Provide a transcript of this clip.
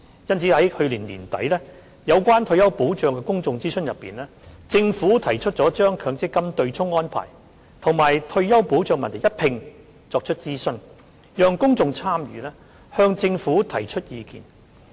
因此，在去年年底有關退休保障的公眾諮詢中，政府提出將強積金對沖安排與退休保障問題一併作出諮詢，讓公眾參與，向政府提出意見。